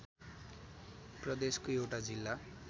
प्रदेशको एउटा जिल्ला